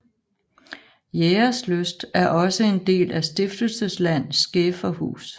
Jægerslyst er også en del af Stiftelsesland Skæferhus